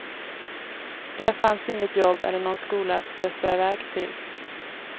Där fanns inget jobb eller nån skola att stressa iväg till.